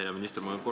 Hea minister!